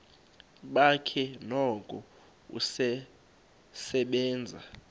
bakhe noko usasebenza